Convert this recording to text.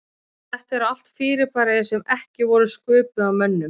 Þetta eru allt fyrirbæri sem ekki voru sköpuð af mönnum.